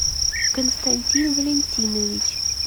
константин валентинович